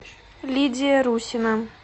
лидия русина